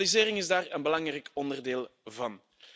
Digitalisering is daar een belangrijk onderdeel van.